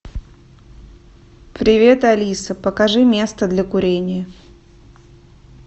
привет алиса покажи место для курения